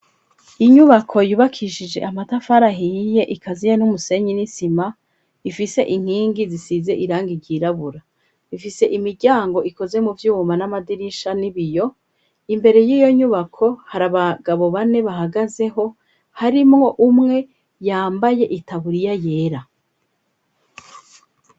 Inyubako yubakishije amatafari ahiyiye ikaziye n'umusenyi n'isima ifise inkingi zisize irangi ryirabura ifise imiryango ikoze mu vyuma n'amadirisha n'ibiyo imbere y'iyo nyubako hari abagabo bane bahagazeho harimwo umwe yambaye itaburiya yera.